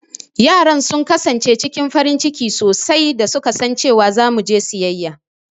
Yaran sun kasance cikin farin ciki sosai da su ka san cewa za mu je siyayya.